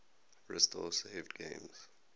restore saved games